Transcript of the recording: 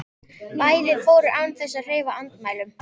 Bæði fóru án þess að hreyfa andmælum.